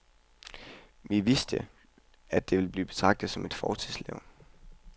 Vi vidste, at vi ville blive betragtet som fortidslevn.